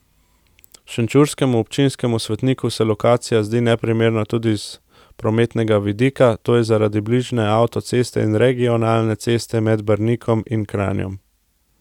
Šenčurskemu občinskemu svetniku se lokacija zdi neprimerna tudi iz prometnega vidika, to je zaradi bližine avtoceste in regionalne ceste med Brnikom in Kranjem.